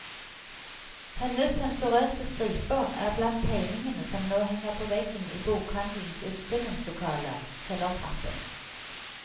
Hennes sensurerte striper er blant tegningene som nå henger på veggen i bokhandelens utstillingslokale, kjellertrappen.